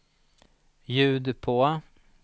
ljud på